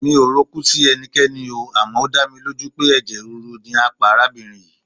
Mi ò rokú sí ẹnikẹ́ni oo, àmọ́ ó dámilójú pé ẹ̀jẹ̀ rírú ni á pa arábìnrin yìí.